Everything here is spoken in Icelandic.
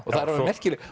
og það er alveg merkilegt